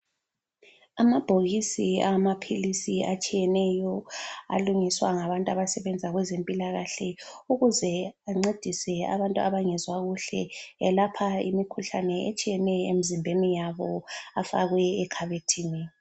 Amabhokisi awamaphiisi atshiyeneyo alungiswa ngabantu abasebenza kwezempilakahle, ukuze ancedise abantu abangezwa kuhle, ayelapha imikhuhlane etshiyeneyo emzimbeni yabo afakwe ekhabethini.